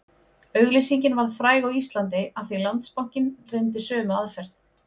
Auglýsingin varð fræg á Íslandi af því Landsbankinn reyndi sömu aðferð